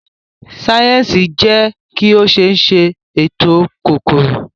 sáyẹnsì jé ki o ṣéé sè ètò kòkòrò.